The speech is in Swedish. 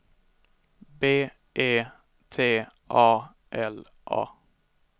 B E T A L A